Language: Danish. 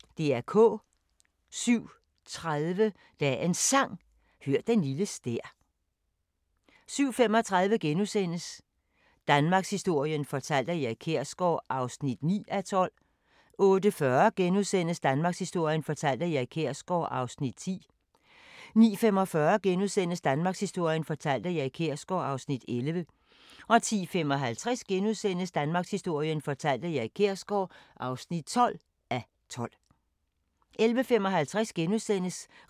07:30: Dagens Sang: Hør den lille stær 07:35: Danmarkshistorien fortalt af Erik Kjersgaard (9:12)* 08:40: Danmarkshistorien fortalt af Erik Kjersgaard (10:12)* 09:45: Danmarkshistorien fortalt af Erik Kjersgaard (11:12)* 10:55: Danmarkshistorien fortalt af Erik Kjersgaard (12:12)* 11:55: